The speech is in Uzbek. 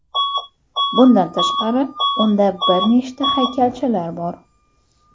Bundan tashqari, unda bir nechta haykalchalar bor.